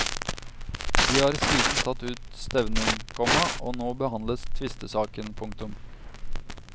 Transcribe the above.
De har siden tatt ut stevning, komma og nå behandles tvistesaken. punktum